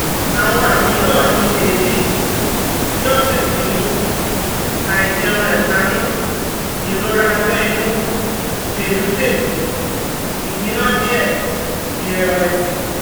àwọn àmì náà ni eebi (ní ọ̀sẹ̀ kìíní), àìjẹunrekánú, irora abe inu, belubelu, igbina die, ìrẹ́wẹ̀sì